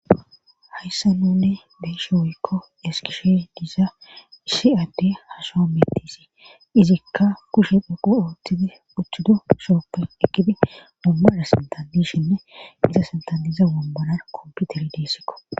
Haysssan nuuni be'ishe woykko ezgishe diza issi adde ha sohohuwan beeteesi. izika kushe dhoqu ootidi utidosuwappe eqqidi wombaray sinthan dishinnne izan sinthan diza wombaran kompitire deesikko.